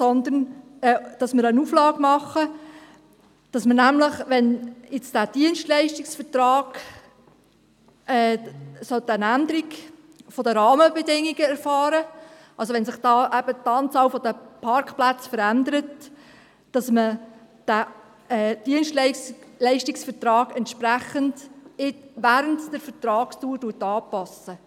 nämlich, dass man, wenn jetzt dieser Dienstleistungsvertrag eine Änderung der Rahmenbedingungen erfahren sollte – wenn sich also die Anzahl der Parkplätze verändert –, diesen Dienstleistungsvertrag während der Vertragsdauer entsprechend anpasst.